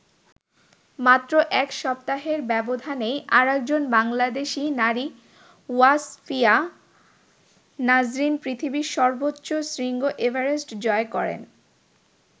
মাত্র এক সপ্তাহের ব্যবধানেই আরেকজন বাংলাদেশী নারী ওয়াসফিয়া নাজরীন পৃথিবীর সর্বোচ্চ শৃঙ্গ এভারেস্ট জয় করেন।